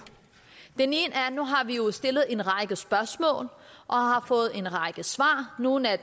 nu har vi jo stillet en række spørgsmål og har fået en række svar nogle af